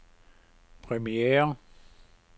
premiere